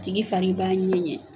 Tigi fari b'a ŋɛɲɛ